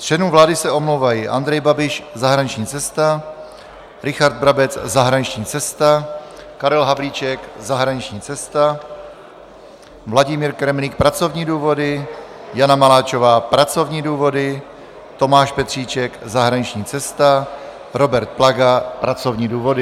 Z členů vlády se omlouvají: Andrej Babiš - zahraniční cesta, Richard Brabec - zahraniční cesta, Karel Havlíček - zahraniční cesta, Vladimír Kremlík - pracovní důvody, Jana Maláčová - pracovní důvody, Tomáš Petříček - zahraniční cesta, Robert Plaga - pracovní důvody.